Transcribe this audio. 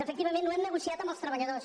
efectivament ho hem negociat amb els treballadors